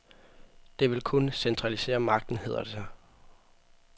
Det vil kun centralisere magten, hedder det sig.